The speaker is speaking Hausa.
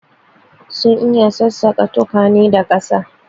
Sun iya sassaka tukwane da gaske.